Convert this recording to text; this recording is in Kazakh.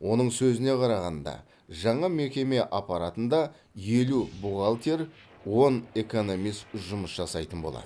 оның сөзіне қарағанда жаңа мекеме аппаратында елу бухгалтер он экономист жұмыс жасайтын болады